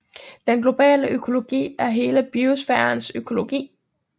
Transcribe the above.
Den globale økologi er hele biosfærens økologi